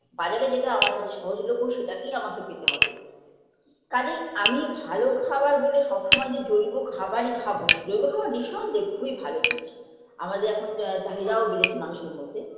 বাজারে যেটা আমার কাছে সহজলভ্য সেটাকেই আমাকে খেতে হবে কাজেই আমি ভালো খাবার বলে সবসময় যে জৈব খাবারই খাবো জৈব খাবার নিঃসন্দেহে খুবই ভালো জিনিস আমাদের এখন আ চাহিদাও বেড়েছে মানুষের মধ্যে